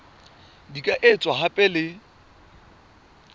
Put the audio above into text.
di ka etswa hape le